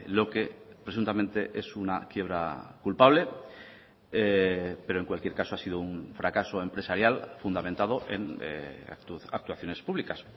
lo que presuntamente es una quiebra culpable pero en cualquier caso ha sido un fracaso empresarial fundamentado en actuaciones públicas